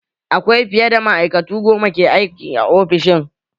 Akwai fiye da ma'aikatu goma ke aiki a ofishin